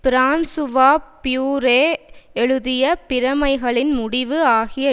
Francois Furet எழுதிய பிரமைகளின் முடிவு ஆகிய